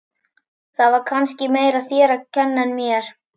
Það var kannski meira þér að kenna en mér.